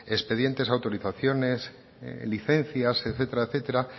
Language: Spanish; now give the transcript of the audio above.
expedientes autorizaciones licencias etcétera etcétera